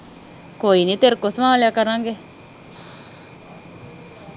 ਕੋਈ ਨੀ ਤੇਰੇ ਕੋਲ ਸਵਾ ਲਿਆ ਕਰਾਂਗੇ